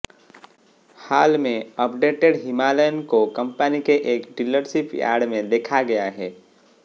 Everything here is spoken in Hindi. हाल में अपडेटेड हिमालयन को कंपनी के एक डीलरशिप यार्ड में देखा गया है